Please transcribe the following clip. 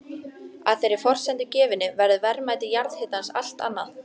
Að þeirri forsendu gefinni verður verðmæti jarðhitans allt annað.